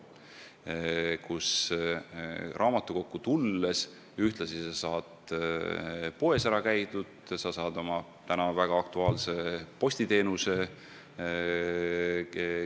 Näiteks saad sa raamatukokku tulles ühtlasi poes ära käia ja kasutada mingit postiteenust – see on praegu väga aktuaalne teema.